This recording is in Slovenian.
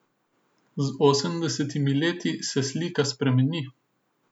Z osemdesetimi leti se slika spremeni.